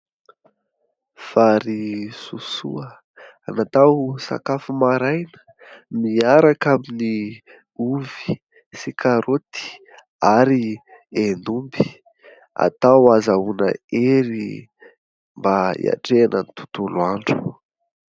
Vary sosoa natao sakafo maraina miaraka amin'ny ovy sy karaoty ary hen'omby. Atao ahazahoana hery mba hiatrehana ny tontolo andro.